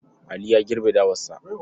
Ali ya girbe dawarsa.